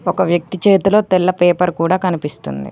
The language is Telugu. ఒక వ్యక్తి చేతులో తెల్ల పేపర్ కూడా కనిపిస్తుంది.